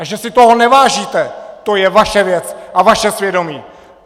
A že si toho nevážíte, to je vaše věc a vaše svědomí!